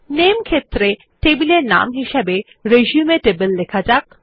নামে ক্ষেত্রে টেবিল এর নাম হিসাবে রিসিউম টেবল লেখা যাক